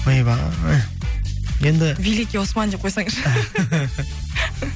ойбай енді великий осман деп қойсаңызшы